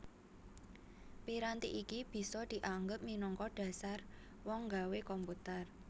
Piranti iki bisa dianggep minangka dhasar wong nggawe komputer